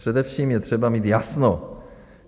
Především je třeba mít jasno.